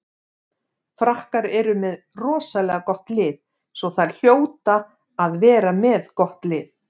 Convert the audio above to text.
Frakkar eru með rosalega gott lið svo þær hljóta að vera með gott lið.